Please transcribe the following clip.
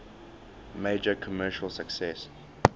major commercial success